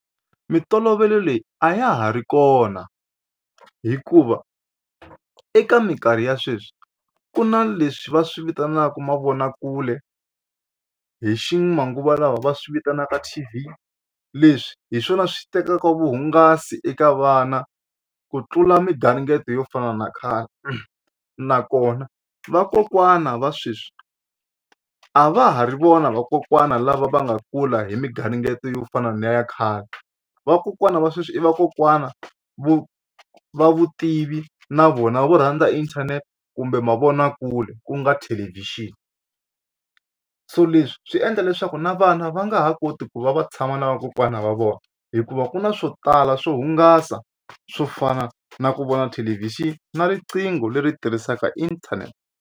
Mintolovelo leyi a ya ha ri kona hikuva eka mikarhi ya sweswi ku na leswi va swi vitanaka mavonakule hi ximanguva lawa va swi vitanaka T_V leswi hi swona swi tekaka vuhungasi eka vana ku tlula migaringeto yo fana na khale nakona vakokwana va sweswi a va ha ri vona vakokwana lava va nga kula hi migaringeto yo fana ni ya khale. Vakokwana va sweswi i vakokwana vo va vutivi na vona vo rhandza inthanete kumbe mavonakule ku nga thelevhixini so leswi swi endla leswaku na vana va nga ha koti ku va va tshama na vakokwana va vona hikuva ku na swo tala swo hungasa swo fana na ku vona thelevhixini na riqingho leri tirhisaka internet.